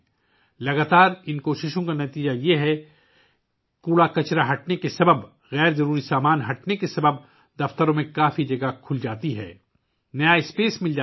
ان مسلسل کوششوں کا نتیجہ یہ ہے کہ کچرا ہٹانے، غیر ضروری اشیاء کو ہٹانے سے دفاتر میں کافی جگہ کھل جاتی ہے، نئی جگہ دستیاب ہوتی ہے